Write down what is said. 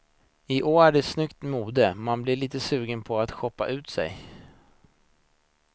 I år är det snyggt mode, man blir lite sugen på att shoppa upp sig.